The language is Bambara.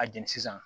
A jɛni sisan